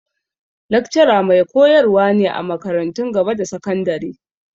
Lakcara mai koyar wa ne a makarantun gaba da sakandari.